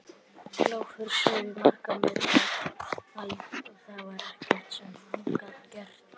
Kláfurinn sveif í margra metra hæð og það var ekkert sem hann gat gert.